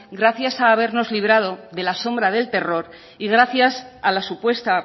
gracias a habernos librado de la sombra del terror y gracias a la supuesta